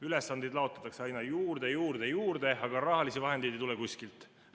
Ülesandeid laotakse aina juurde, juurde ja juurde, aga rahalisi vahendeid ei tule kuskilt.